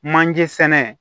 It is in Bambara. Manje sɛnɛ